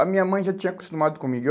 A minha mãe já tinha acostumado comigo. Eu